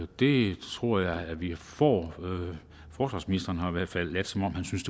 det tror jeg vi får forsvarsministeren har i hvert fald ladet som om han synes